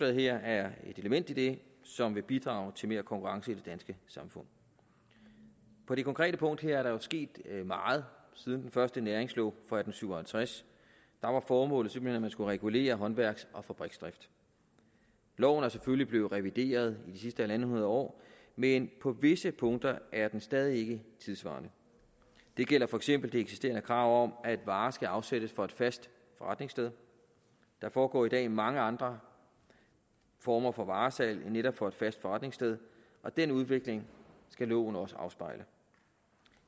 her er et element i det som vil bidrage til mere konkurrence i det danske samfund på det konkrete punkt her er der jo sket meget siden den første næringslov fra atten syv og halvtreds da var formålet simpelt hen at man skulle regulere håndværks og fabriksdrift loven er selvfølgelig blevet revideret i de sidste halvanden hundrede år men på visse punkter at den stadig ikke tidssvarende det gælder for eksempel det eksisterende krav om at varer skal afsættes fra et fast forretningssted der foregår i dag mange andre former for varesalg end netop fra et fast forretningssted og den udvikling skal loven også afspejle